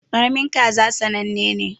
Karamin kaza sannane ne.